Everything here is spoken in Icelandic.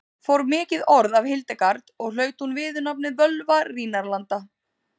Fór mikið orð af Hildegard og hlaut hún viðurnefnið Völva Rínarlanda.